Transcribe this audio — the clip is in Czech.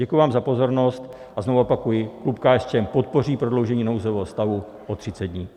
Děkuji vám za pozornost a znovu opakuji, klub KSČM podpoří prodloužení nouzového stavu o 30 dní.